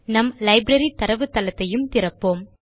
நம் லைப்ரரி தரவுத்தளத்தையும் திறப்போம்